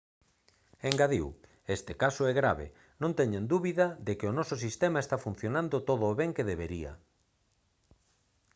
engadiu: «este caso é grave. non teñan dúbida de que o noso sistema está funcionando todo o ben que debería»